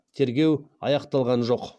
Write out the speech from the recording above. тергеу аяқталған жоқ